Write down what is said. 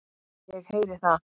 Ég heyri það.